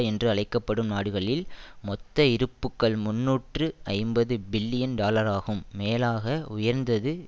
என்று அழைக்க படும் நாடுகளின் மொத்த இருப்புக்கள் முன்னூற்று ஐம்பது பில்லியன் டாலராகும் மேலாக உயர்ந்தது